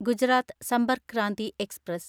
Gujarat Sampark Kranti express